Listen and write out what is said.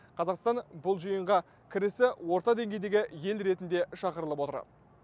қазақстан бұл жиынға кірісі орта деңгейдегі ел ретінде шақырылып отыр